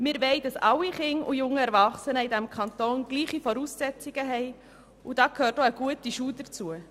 Alle Kinder und jungen Erwachsene dieses Kantons sollen gleiche Voraussetzungen haben, und da gehört auch eine gute Schulbildung dazu.